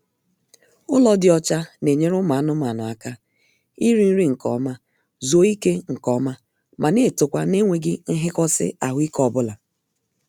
Ụlọ dị ọcha na-enyere ụmụ anụmaanụ aka iri nri nkeọma, zuo ike nkeọma ma na-etokwa n'enweghị nhikosi ahụike obula